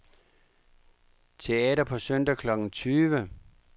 Teater på søndag klokken tyve.